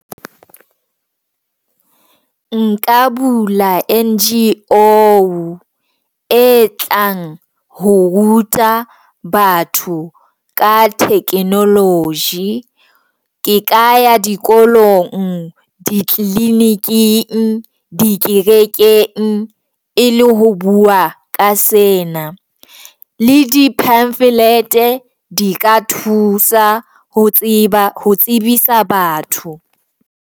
Nka bula NGO e tlang ho ruta batho ka technology. Ke ka ya dikolong, di tliliniking, di kerekeng e le ho bua ka sena le di pamphlet di ka thusa ho tseba ho tsebisa batho.